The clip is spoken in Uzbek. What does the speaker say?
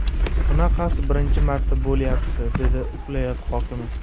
Bunaqasi birinchi marta bo‘lyapti”, dedi viloyat hokimi.